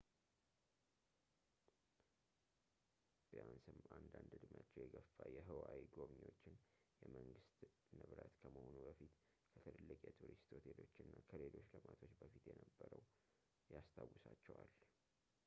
ቢያንስም አንዳንድ እድሜያቸው የገፋ የሁዋዪ ጎብኚዎችን የመንግስት ንብረት ከመሆኑ በፊት ከትልልቅ የቱሪስት ሆቴሎች እና ሌሎች ልማቶች በፊት የነበረውን ያስታውሳቸዋል